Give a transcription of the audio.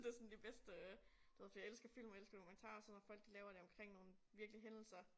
Det sådan de bedste øh du ved fordi jeg elsker film og jeg elsker dokumentarer og sådan når folk de laver det omkring nogle virkelige hændelser